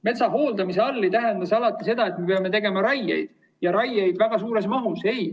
Metsa hooldamine ei tähenda alati seda, et me peame tegema raieid ja väga suures mahus.